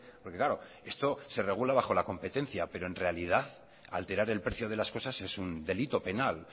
porque claro esto se regula bajo la competencia pero en realidad alterar el precio de las cosas es un delito penal